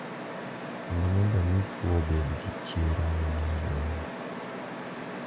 kendo mondo omi chwo obed gi chir ahinya e lweny.